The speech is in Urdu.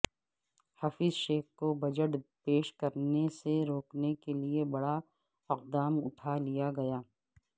حفیظ شیخ کو بجٹ پیش کرنےسے روکنے کےلئے بڑا اقدام اٹھا لیا گیا